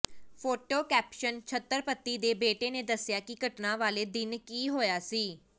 photo caption Chhatrapati ਦੇ ਬੇਟੇ ਨੇ ਦੱਸਿਆ ਕਿ ਘਟਨਾ ਵਾਲੇ ਦਿਨ ਕੀ ਹੋਇਆ ਸੀ